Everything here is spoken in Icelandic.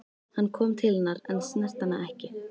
Hann kom til hennar en snerti hana ekki.